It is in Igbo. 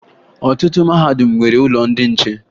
Ọtụtụ mahadum nwere ụlọ ndị nche